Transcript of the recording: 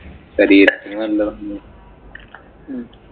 ശരീരത്തിനു നല്ലതാണ്.